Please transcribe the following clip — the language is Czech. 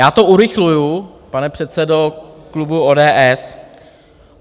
Já to urychluji, pane předsedo klubu ODS.